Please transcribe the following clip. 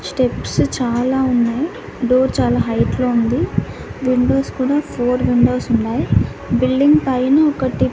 steps చాలా ఉన్నాయ్ door చాలా హైట్ లో ఉంది విండోస్ కూడా ఫోర్ విండోస్ ఉన్నాయ్ బిల్డింగ్ పైన ఒకటి--